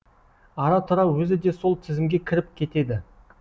ара тұра өзі де сол тізімге кіріп кетеді